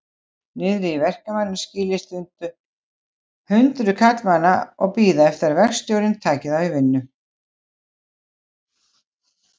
Niðri í verkamannaskýli standa hundruð karlmanna og bíða eftir að verkstjórinn taki þá í vinnu.